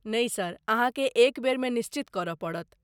नहि सर, अहाँकेँ एक बेरमे निश्चित करय पड़त।